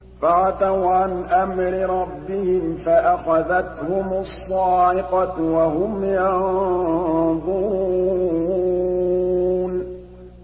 فَعَتَوْا عَنْ أَمْرِ رَبِّهِمْ فَأَخَذَتْهُمُ الصَّاعِقَةُ وَهُمْ يَنظُرُونَ